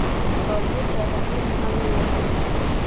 Baburka raacdin maxa loyaqanax.